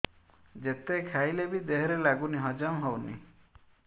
ଯେତେ ଖାଇଲେ ବି ଦେହରେ ଲାଗୁନି ହଜମ ହଉନି